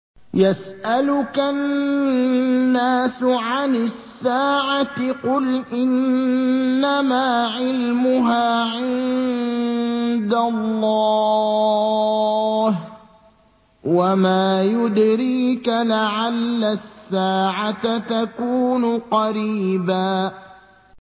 يَسْأَلُكَ النَّاسُ عَنِ السَّاعَةِ ۖ قُلْ إِنَّمَا عِلْمُهَا عِندَ اللَّهِ ۚ وَمَا يُدْرِيكَ لَعَلَّ السَّاعَةَ تَكُونُ قَرِيبًا